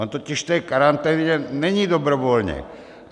On totiž v té karanténě není dobrovolně.